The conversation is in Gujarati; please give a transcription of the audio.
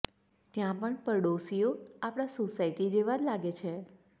ત્યાં પણ પડોશીઓ આપણી સોસાયટી જેવા જ લાગે છે